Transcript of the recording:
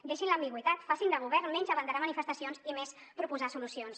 deixin l’ambigüitat facin de govern menys abanderar manifestacions i més proposar solucions